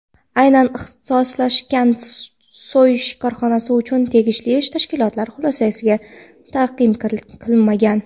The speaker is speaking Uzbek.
aynan ixtisoslashgan so‘yish korxonasi uchun tegishli tashkilotlar xulosalari taqdim qilinmagan.